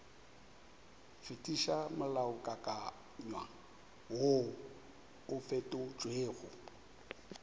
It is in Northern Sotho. fetiša molaokakanywa woo o fetotšwego